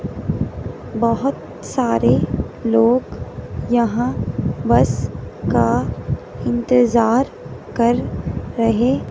बहोत सारे लोग यहां बस का इंतजार कर रहे--